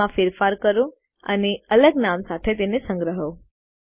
તેમાં ફેરફારો કરો અને અલગ નામ સાથે તેને સંગ્રહો